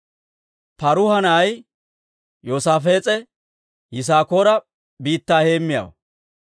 Paaruha na'ay Yoosaafees'e Yisaakoora biittaa heemmiyaawaa.